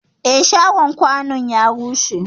Eh, shagon kwanun ya rushe.